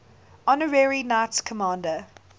honorary knights commander